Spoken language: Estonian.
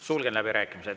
Sulgen läbirääkimised.